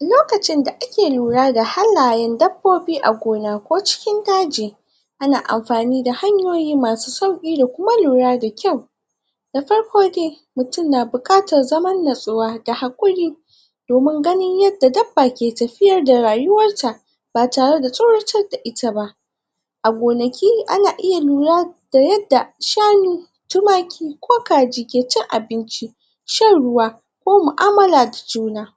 lokacin da ake lura da hannayen dabbobi a gona, ko cikin daji ana anfani da hanyoyi masu sauki da kuma lura da kyau da farko dai mutun na bukatan, zaman nutsuwa da hakuri domin ganin yadda dabba ke tafiyar da rayuwar ta ba tare da tsoratar da itaba a gonaki ana iya lura da yadda shanu tumaki ko kaji ke cin abin ci shan ruwa ko muamala da jiuna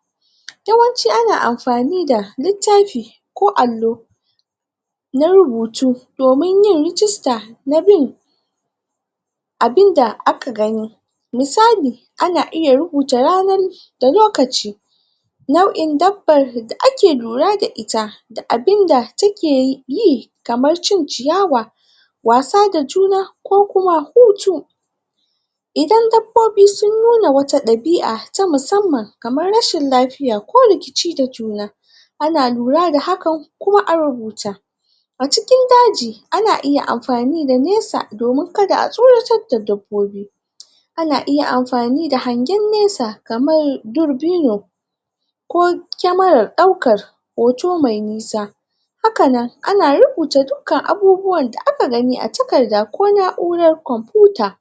yawanci ana anfani da littafi ko allo na rubutu domin yin rigista a bin abin da aka gani misali ana iya rubuta ranar lokaci nau'in dabban da ake lura da ita da abin da take yi kamar cin ciyawa wasa da juna ko kuma hutu idan dabbobi sun nuna wata dabi'a ta musamman kamar rashin lafiya ko rikici da juna ana lura da hakan kuma a rubuta a cikin daji ana iya anfani da nesa domin ka da a tsoratar da dabbobi ana iya anfani da hangen nesa kaman durbino ko kemaran daukan hoto da nisa hakanan ana rubuta dukkan abubuwan da da aka gani a takarda ko nauran konfuta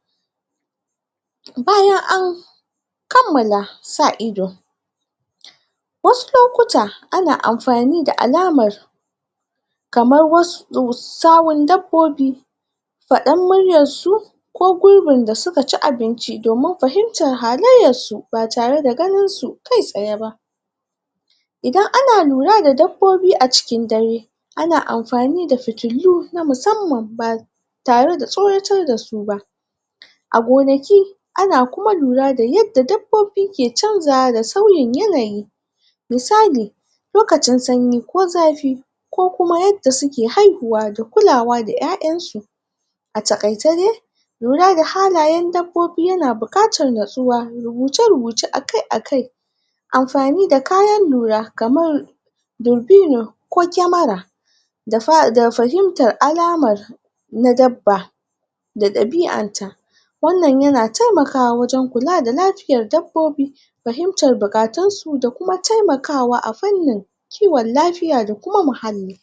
bayan an kammala sa ido wasu lokuta ana anfani da alamar kamar wasu sahun dabbobi fadar muryan su ko gurbin da suka ci abinci domin fahimtan halaiyan su ba tare da ganin su kai tsaye ba idan ana lura da dabbobi, a cikin dare ana anfani da fitulu na musamman tare da tsoratar da su ba a gonaki a na kuma lura da, yadda dabobi, ke chanjawa da sauyin yanayi misali lokacin sanyi ko zafi ko kuma yadda suke haihuwa da kulawa da yayan su a takaice dai lura da halayen dabbobi, yana bukatan, natsuwa da rubuce rubuce akai akai anfani da kayan lura kaman durbino ko kemara da fahimtar alamar na dabba da dabian ta wan nan yana taimkawa wajen kula da lafiyan dabbobi fahimtan bukatun su da kuma taimakawa a farnin kiwon lafiya da kuma muhalli